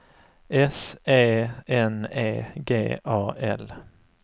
S E N E G A L